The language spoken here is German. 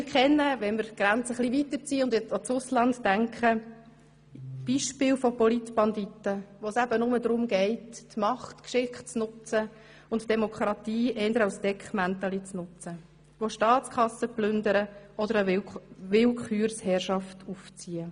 Wenn wir die Grenzen etwas weiter ziehen und ans Ausland denken, so kennen auch wir Beispiele von Politbanditen, denen es eben nur darum geht, die Macht geschickt zu nutzen, die Demokratie eher als Deckmäntelchen zu verwenden, die Staatskassen zu plündern oder eine Willkürherrschaft zu errichten.